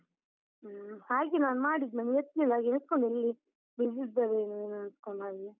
ಹ್ಮ್, ಹಾಗೆ ನಾನ್ ಮಾಡಿದ್ದು ನೀನ್ ಎತ್ಲಿಲ್ಲ, ನಾನ್ ಎಣಿಸ್ಕೊಂಡೆ ನೀನ್ busy ಇದ್ದಿರೇನೋ ನಾನ್ ಎಣ್ಸ್ಕೊಂಡಾಗೆ.